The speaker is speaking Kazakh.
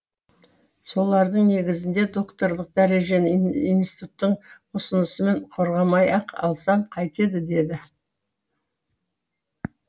солардың негізінде докторлық дәрежені институттың ұсынысымен қорғамай ақ алсам қайтеді деді